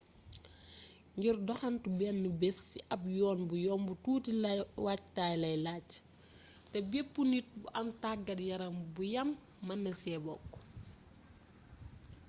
ngir doxantu benn bés ci ab yoon bu yomb tuuti waajtaay la laaj te bepp nit bu am tàggat yaram bu yam mën na ci bokk